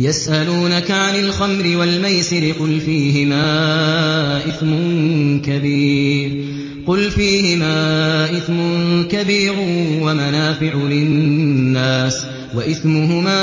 ۞ يَسْأَلُونَكَ عَنِ الْخَمْرِ وَالْمَيْسِرِ ۖ قُلْ فِيهِمَا إِثْمٌ كَبِيرٌ وَمَنَافِعُ لِلنَّاسِ وَإِثْمُهُمَا